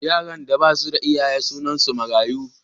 Yaran da ba su da iyaye sunansu mayaru.